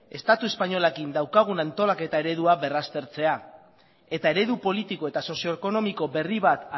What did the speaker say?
estatu espainolarekin daukagun antolaketa eredua berraztertzea eta eredu politiko eta sozio ekonomiko berri bat